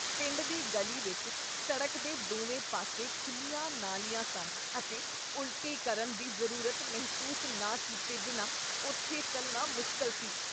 ਪਿੰਡ ਦੀ ਗਲੀ ਵਿੱਚ ਸੜਕ ਦੇ ਦੋਵੇਂ ਪਾਸੇ ਖੁੱਲ੍ਹੀਆਂ ਨਾਲੀਆਂ ਸਨ ਅਤੇ ਉਲਟੀ ਕਰਨ ਦੀ ਜ਼ਰੂਰਤ ਮਹਿਸੂਸ ਨਾ ਕੀਤੇ ਬਿਨਾਂ ਉੱਥੇ ਚੱਲਣਾ ਮੁਸ਼ਕਲ ਸੀ।